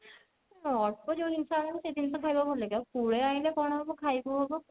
ଅଳ୍ପ ଯଉ ଜିନିଷ ଆଣିବୁ ସେଇ ଜିନିଷ ଖାଇବାକୁ ଭଲ ଲାଗିବ ଆଉ ପୁଳେ ଆଣିଲେ କଣ ହବ ଖାଇ କଉ ହବ